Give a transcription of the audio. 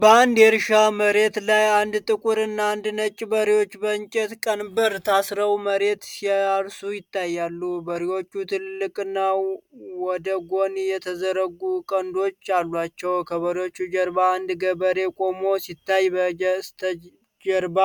በአንድ የእርሻ መሬት ላይ አንድ ጥቁርና አንድ ነጭ በሬዎች በእንጨት ቀንበር ታስረው መሬት ሲያርሱ ይታያሉ። በሬዎቹ ትላልቅና ወደ ጎን የተዘረጉ ቀንዶች አሏቸው። ከበሬዎቹ ጀርባ አንድ ገበሬ ቆሞ ሲታይ፣ በስተጀርባ